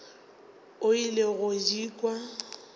o ile go di kwa